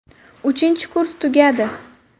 Uchinchi kurs tugadi.